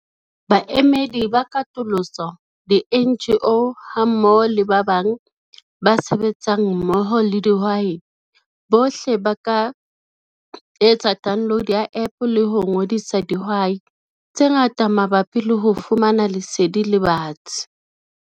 Baemedi ba katoloso, di-NGO hammoho le ba bang ba sebetsang mmoho le dihwai bohle ba ka etsa download ya app le ho ngodisa dihwai tse ngata mabapi le ho fumana lesedi le batsi.